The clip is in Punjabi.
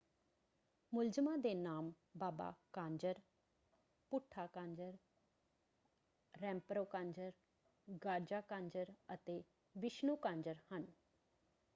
ਮੁਲਜ਼ਮਾਂ ਦੇ ਨਾਮ ਬਾਬਾ ਕਾਂਜਰ ਭੂਠਾ ਕਾਂਜਰ ਰੈਂਪਰੋ ਕਾਂਜਰ ਗਾਜ਼ਾ ਕਾਂਜਰ ਅਤੇ ਵਿਸ਼ਣੂ ਕਾਂਜਰ ਹਨ।